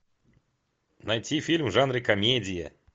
найти фильм в жанре комедия